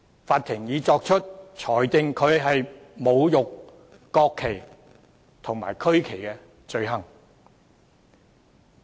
法庭已裁定他侮辱國旗及區旗罪成。